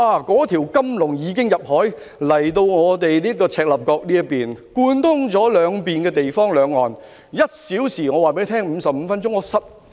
那條金龍已經游至赤鱲角，貫通兩岸，來往兩地只需1小時或55分鐘。